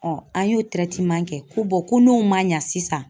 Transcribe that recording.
an y'o kɛ ko ko n'o ma ɲa sisan